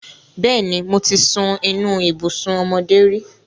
Bẹ́ẹ̀ni, mo ti sun inú ibùsùn ọmọdé rí.